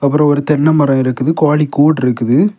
அப்புறம் ஒரு தென்னை மரம் இருக்குது கோழி கூடு இருக்குது.